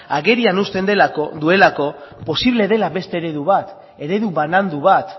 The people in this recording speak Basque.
agerian uzten delako posible dela beste eredu bat eredu banandu bat